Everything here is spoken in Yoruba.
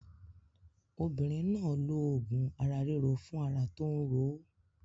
Obinrin náà lo òògùn ara ríro fún ara tó ń ro ó.